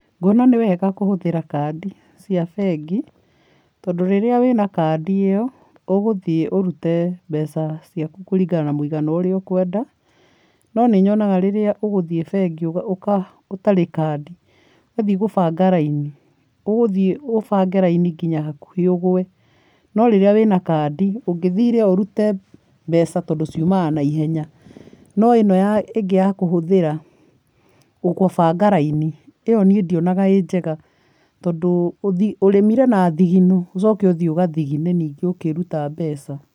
Nguona nĩ wega kuhũthĩra kandi cia bengi, tondũ rĩrĩa wĩna kandi ĩyo, ũgũthiĩ ũrute mbeca ciaku kũringana na mũigana ũrĩa ũkwenda, no nĩnyonaga rĩrĩa ũgũthiĩ bengi ũtarĩ kandi, ũgathiĩ kũbanga raini, ũgũthiĩ ũbange raini nginya hakuhĩ ũgũe. No rĩrĩa wĩna kandi, ũngĩthire o ũrute mbeca tondũ ciumaga naihenya. No ĩno ya ĩngĩ ya kũhũthĩra kũbanga raini, ĩyo niĩ ndionaga ĩ njega. Tondũ ũrĩmire na thigino, ũcoke ũthiĩ ũgathigine ningĩ ũkĩruta mbeca.